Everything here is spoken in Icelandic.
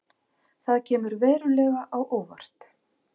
Það kemur verulega á óvart